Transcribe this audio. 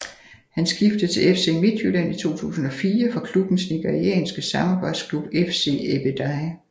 Han skiftede til FC Midtjylland i 2004 fra klubbens nigerianske samarbejdsklub FC Ebedei